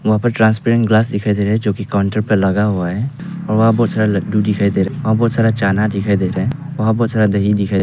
वहां पे transparent glass दिखाई दे रहे है जो की काउंटर पे लगा हुआ है और वहां बहुत सारा लड्डू दिखाई रहा है वहां बहुत सारा चना दिखाई दे रहा है वहां बहुत सारा दही दिखाई दे--